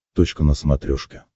точка на смотрешке